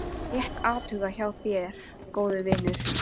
Rétt athugað hjá þér góði vinur.